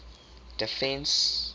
defence